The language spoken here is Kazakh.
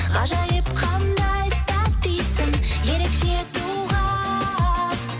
ғажайып қандай тәтті иісің ерекше туған